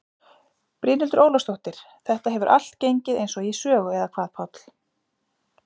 Brynhildur Ólafsdóttir: Þetta hefur allt gengið eins og í sögu eða hvað Páll?